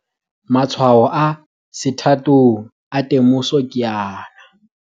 Matshwao a sethathong a temoso ke ana.